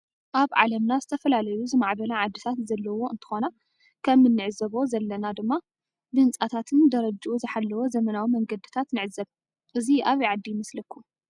አብ ዓለምና ዝተፈላለዩ ዝማዕበላ ዓድታት ዘለዎ እንትኮና ከም እንዕዞ ዘለና ድ ማ ብህንፃታትነ ጀረጅኡ ዝሓለወ ዘመናዊ መንገድታት ንዕዘብ ።እዚ አበይ ዓዲ ይመሰለኩም?